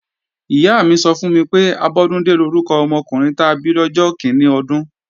Ìyá mi sọ fún mi pé, Abọ́dúndé lórúkọ ọmọkùnrin ta bí lọ́jọ́ kíní ọdún